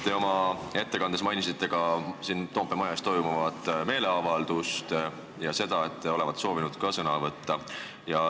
Te oma ettekandes mainisite siin Toompea maja ees toimuvat meeleavaldust ja seda, et te olevat soovinud seal ka sõna võtta.